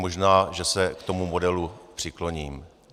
Možná že se k tomu modelu přikloním.